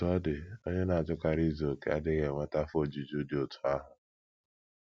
Otú ọ dị, onye na - achọkarị izu okè adịghị enweta afọ ojuju dị otú ahụ.